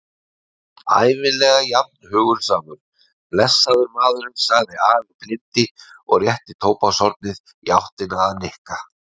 Ævinlega jafn hugulsamur, blessaður maðurinn sagði afi blindi og rétti tóbakshornið í áttina að Nikka.